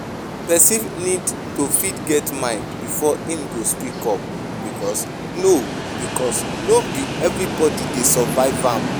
Person need to fit get mind before im go speak up because no because no be everybody dey survive am